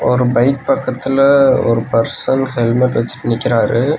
ஒரு பைக் பக்கத்ல ஒரு பர்சன் ஹெல்மெட் வெச்சுட்டு நிக்கிறாரு.